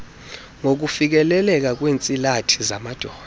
ngokufikeleleka kweentsilathi zamadoda